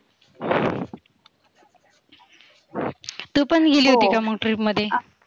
तु पण गेली होती का मग trip मध्ये?